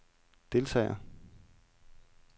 deltager